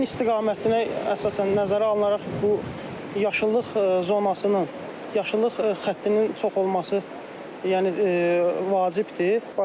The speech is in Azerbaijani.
Küləyin istiqamətinə əsasən nəzərə alınaraq bu yaşıllıq zonasının, yaşıllıq xəttinin çox olması, yəni vacibdir.